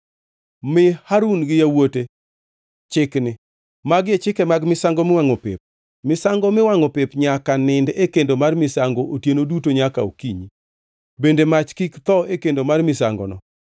“Mi Harun gi yawuote chikni: ‘Magi e chike mag misango miwangʼo pep: Misango miwangʼo pep nyaka nind e kendo mar misango otieno duto nyaka okinyi, bende mach kik tho e kendo mar misangono.